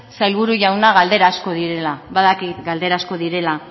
sailburu jauna galdera asko direla badakit galdera asko direla